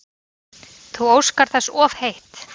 Þú óskar þess of heitt